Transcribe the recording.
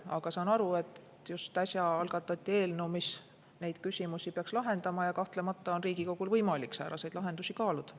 Aga saan aru, et just äsja algatati eelnõu, mis neid küsimusi peaks lahendama, ja kahtlemata on Riigikogul võimalik sääraseid lahendusi kaaluda.